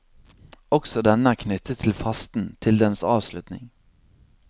Også denne er knyttet til fasten, til dens avslutning.